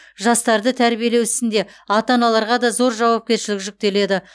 жастарды тәрбиелеу ісінде ата аналарға да зор жауапкершілік жүктеледі